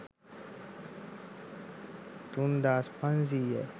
තුන්දාස් පන්සීයයි